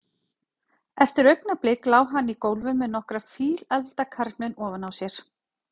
Eftir augnablik lá hann í gólfinu með nokkra fíleflda karlmenn ofan á sér.